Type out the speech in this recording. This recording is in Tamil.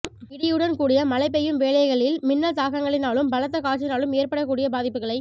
இடியுடன் கூடிய மழை பெய்யும் வேளைகளில் மின்னல் தாக்கங்களினாலும் பலத்த காற்றினாலும் ஏற்படக்கூடிய பாதிப்புகளை